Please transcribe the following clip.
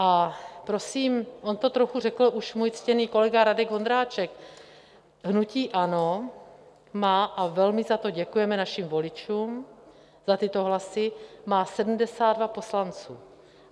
A prosím, on to trochu řekl už můj ctěný kolega Radek Vondráček: hnutí ANO má - a velmi za to děkujeme našim voličům, za tyto hlasy - má 72 poslanců.